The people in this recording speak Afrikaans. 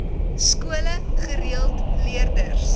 skole gereeld leerders